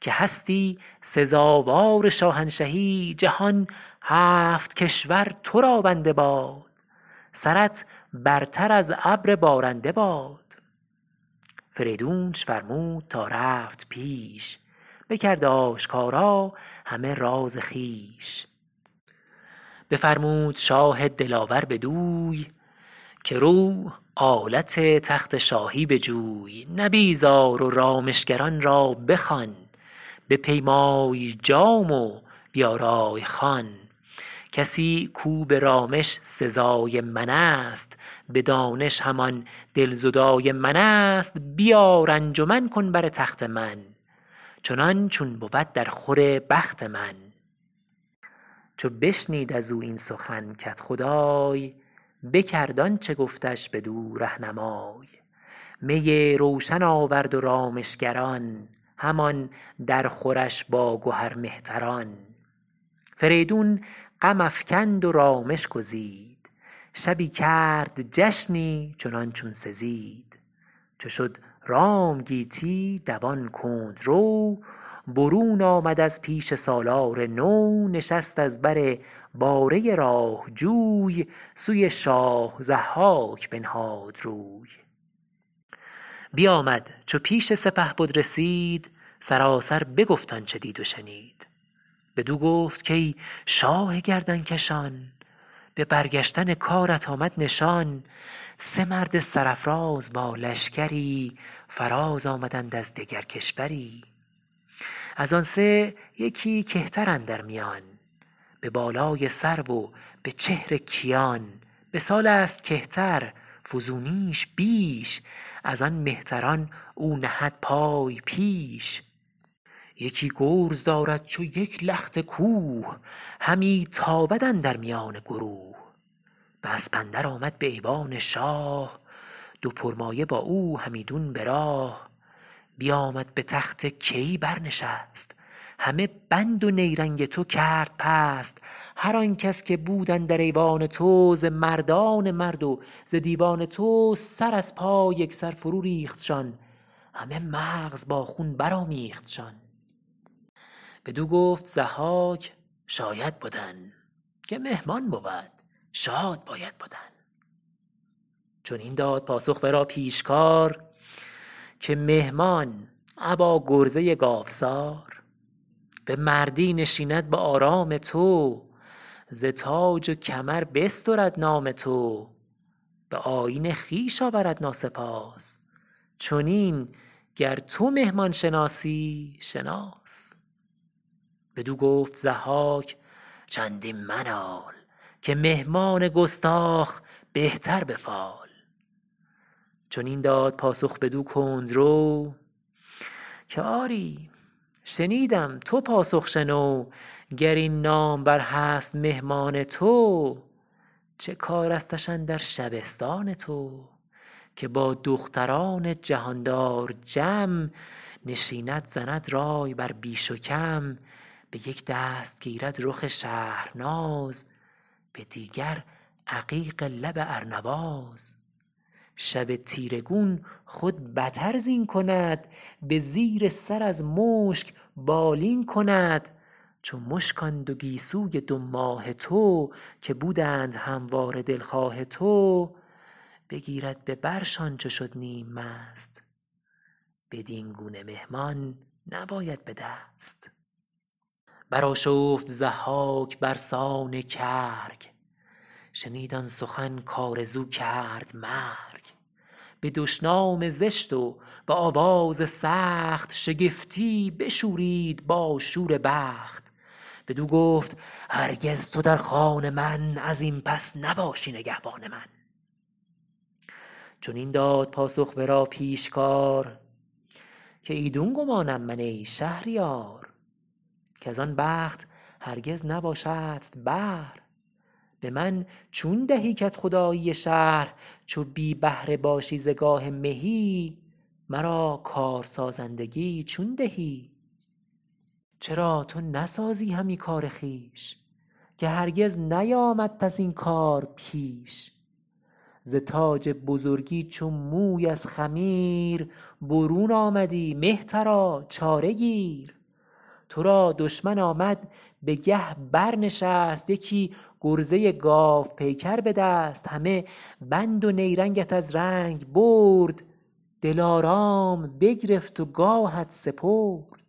که هستی سزاوار شاهنشهی جهان هفت کشور تو را بنده باد سرت برتر از ابر بارنده باد فریدونش فرمود تا رفت پیش بکرد آشکارا همه راز خویش بفرمود شاه دلاور بدوی که رو آلت تخت شاهی بجوی نبیذ آر و رامشگران را بخوان بپیمای جام و بیارای خوان کسی کاو به رامش سزای من است به دانش همان دلزدای من است بیار انجمن کن بر تخت من چنان چون بود در خور بخت من چو بشنید از او این سخن کدخدای بکرد آنچه گفتش بدو رهنمای می روشن آورد و رامشگران همان در خورش با گهر مهتران فریدون غم افکند و رامش گزید شبی کرد جشنی چنان چون سزید چو شد رام گیتی دوان کندرو برون آمد از پیش سالار نو نشست از بر باره راه جوی سوی شاه ضحاک بنهاد روی بیآمد چو پیش سپهبد رسید سراسر بگفت آنچه دید و شنید بدو گفت کای شاه گردنکشان به برگشتن کارت آمد نشان سه مرد سرافراز با لشکری فراز آمدند از دگر کشوری از آن سه یکی کهتر اندر میان به بالای سرو و به چهر کیان به سال است کهتر فزونیش بیش از آن مهتران او نهد پای پیش یکی گرز دارد چو یک لخت کوه همی تابد اندر میان گروه به اسپ اندر آمد به ایوان شاه دو پرمایه با او همیدون براه بیآمد به تخت کیی بر نشست همه بند و نیرنگ تو کرد پست هر آن کس که بود اندر ایوان تو ز مردان مرد و ز دیوان تو سر از پای یک سر فرو ریختشان همه مغز با خون برآمیختشان بدو گفت ضحاک شاید بدن که مهمان بود شاد باید بدن چنین داد پاسخ ورا پیشکار که مهمان ابا گرزه گاوسار به مردی نشیند به آرام تو ز تاج و کمر بسترد نام تو به آیین خویش آورد ناسپاس چنین گر تو مهمان شناسی شناس بدو گفت ضحاک چندین منال که مهمان گستاخ بهتر به فال چنین داد پاسخ بدو کندرو که آری شنیدم تو پاسخ شنو گر این نامور هست مهمان تو چه کارستش اندر شبستان تو که با دختران جهاندار جم نشیند زند رای بر بیش و کم به یک دست گیرد رخ شهرناز به دیگر عقیق لب ارنواز شب تیره گون خود بتر زین کند به زیر سر از مشک بالین کند چو مشک آن دو گیسوی دو ماه تو که بودند همواره دلخواه تو بگیرد به برشان چو شد نیم مست بدین گونه مهمان نباید به دست برآشفت ضحاک برسان کرگ شنید آن سخن کآرزو کرد مرگ به دشنام زشت و به آواز سخت شگفتی بشورید با شور بخت بدو گفت هرگز تو در خان من از این پس نباشی نگهبان من چنین داد پاسخ ورا پیشکار که ایدون گمانم من ای شهریار کز آن بخت هرگز نباشدت بهر به من چون دهی کدخدایی شهر چو بی بهره باشی ز گاه مهی مرا کارسازندگی چون دهی چرا تو نسازی همی کار خویش که هرگز نیامدت از این کار پیش ز تاج بزرگی چو موی از خمیر برون آمدی مهترا چاره گیر تو را دشمن آمد به گه برنشست یکی گرزه گاوپیکر به دست همه بند و نیرنگت از رنگ برد دلارام بگرفت و گاهت سپرد